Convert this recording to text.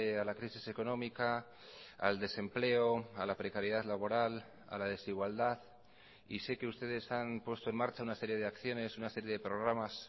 a la crisis económica al desempleo a la precariedad laboral a la desigualdad y sé que ustedes han puesto en marcha una serie de acciones una serie de programas